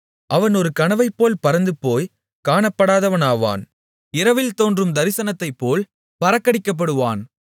அவன் ஒரு கனவைப்போல் பறந்துபோய்க் காணப்படாதவனாவான் இரவில் தோன்றும் தரிசனத்தைப்போல் பறக்கடிக்கப்படுவான்